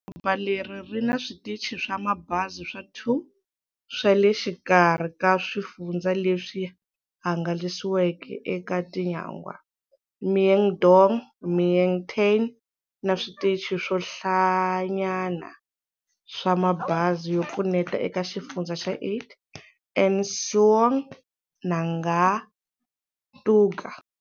Doroba leri ri na switichi swa mabazi swa 2 swa le xikarhi ka swifundzha leswi hangalasiweke eka tinyangwa-Mien Dong, Mien Tay na switichi swo hlayanyana swa mabazi swo pfuneta eka Xifundzha xa 8, An Suong na Nga Tu Ga.